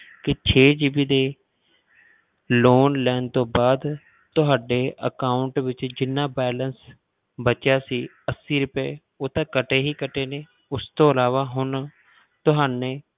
ਕਿ ਛੇ GB ਦੀ loan ਲੈਣ ਤੋਂ ਬਾਅਦ ਤੁਹਾਡੇ account ਵਿੱਚ ਜਿੰਨਾ balance ਬਚਿਆ ਸੀ ਅੱਸੀ ਰੁਪਏ ਉਹ ਤਾਂ ਕੱਟੇ ਹੀ ਕੱਟੇ ਨੇ ਉਸ ਤੋਂ ਇਲਾਵਾ ਹੁਣ ਤੁਹਾਨੇ